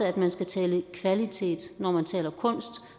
at man skal tale kvalitet når man taler kunst